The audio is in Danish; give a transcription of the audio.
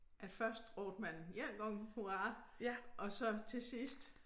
At første råbte man 1 gang hurra og så til sidst